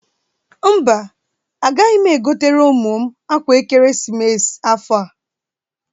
Mba, agaghị m egotere ụmụ m akwa ekeresimesi afọ a.